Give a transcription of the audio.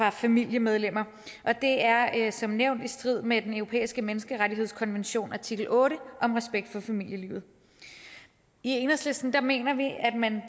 og familiemedlemmer og det er som nævnt i strid med den europæiske menneskerettighedskonvention artikel otte om respekt for familielivet i enhedslisten mener vi at man